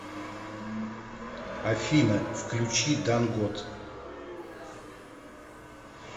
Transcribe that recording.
афина включи дангот